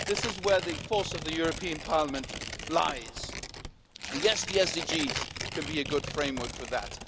This is where the force of the European Parliament lies and yes, the SDGs can be a good framework for that.